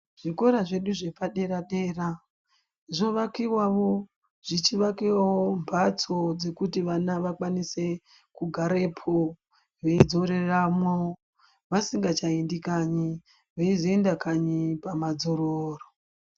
Zvikora zvedu zvepa dera dera zvo vakiwawo zvichi vakiwawo mbatso dzekuti vana vakwanise kugarepo veyi dzoreramwo vasingacha endi kanyi veizo enda kanyi pama dzororo.